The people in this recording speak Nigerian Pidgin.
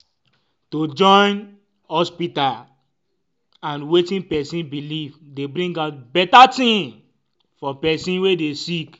em- to join ah hospita and wetin pesin belief dey bring out beta tin for pesin wey dey sick